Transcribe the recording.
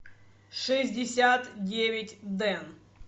шестьдесят девять дэн